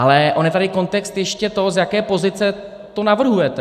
Ale on je tady kontext ještě toho, z jaké pozice to navrhujete.